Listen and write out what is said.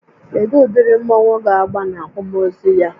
Kedụ ụdịrị mmọnwu ga agba n'akwamozu ya?